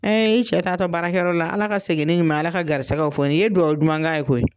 i cɛ taatɔ baarakɛyɔrɔ la Ala ka segin n'i ɲuma ye, Ala ka gɛrisigɛw fɔni, i ye duwawu duman ka ye koyi.